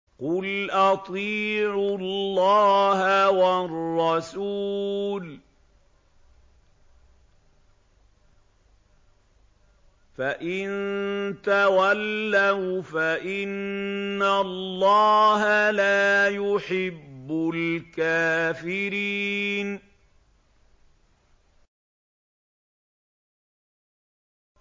قُلْ أَطِيعُوا اللَّهَ وَالرَّسُولَ ۖ فَإِن تَوَلَّوْا فَإِنَّ اللَّهَ لَا يُحِبُّ الْكَافِرِينَ